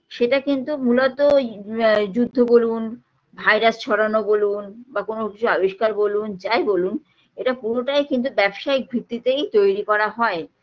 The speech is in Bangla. সেটা কিন্তু মূলত আ যুদ্ধ বলুন virus ছড়ানো বলুন বা কোনো কিছুর আবিষ্কার বলুন যাই বলুন এইটা পুরোটাই কিন্তু ব্যবসায়িক ভিত্তিতেই তৈরি করা হয়